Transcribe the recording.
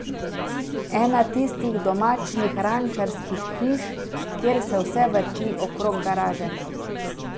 Ena tistih domačnih rančarskih hiš, kjer se vse vrti okrog garaže.